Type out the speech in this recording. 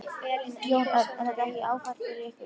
Jón Örn: Er þetta ekki áfall fyrir ykkur?